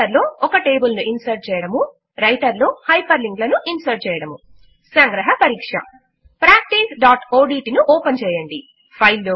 writer లో ఒక table ను ఇన్సర్ట్ చేయడము రైటర్ లో హైపర్ లింక్ లను ఇన్సర్ట్ చేయడము సంగ్రహ పరీక్ష practiceఓడ్ట్ ను ఓపెన్ చేయండి